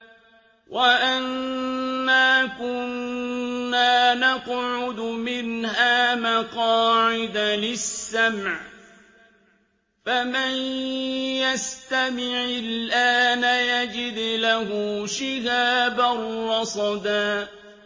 وَأَنَّا كُنَّا نَقْعُدُ مِنْهَا مَقَاعِدَ لِلسَّمْعِ ۖ فَمَن يَسْتَمِعِ الْآنَ يَجِدْ لَهُ شِهَابًا رَّصَدًا